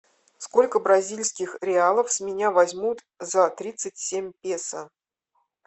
сколько бразильских реалов с меня возьмут за тридцать семь песо